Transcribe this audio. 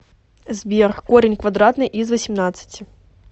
сбер корень квадратный из восемнадцати